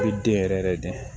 U bɛ den yɛrɛ yɛrɛ yɛrɛ de